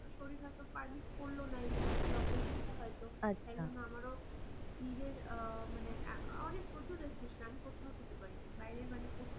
শরীর খারাপ তো permit করলো না এই জিনিস টা এই operation টা হয় তো. তারজন্য আমারও নিজের আঃ মানে এক অনেক প্রচুর restriction আমি কোথাও খেতে পারি না বাইরে মানে কোথাও আমার খাওয়াদাওয়া চলে না.